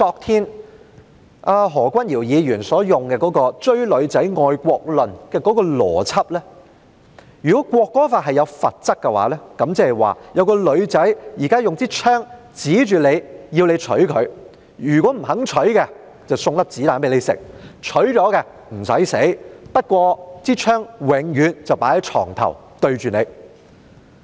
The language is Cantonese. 根據何君堯議員昨天採用的"追女仔"愛國論邏輯，如果《條例草案》訂明罰則的話，即是說有一位女士現在用槍指着你，要你娶她，如果你不娶她，便向你開槍；你娶她的話，你便不用死，不過，這把槍將永遠放在床頭對着你。